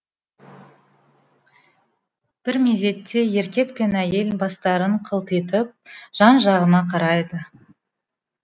бір мезетте еркек пен әйел бастарын қылтитып жан жағына қарайды